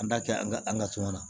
An b'a kɛ an ka an ka suma na